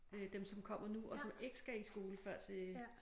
Øh dem som kommer nu og som ikke skal i skole før til